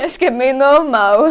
Acho que é meio normal.